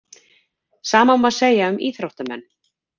Sama má segja um íþróttamenn.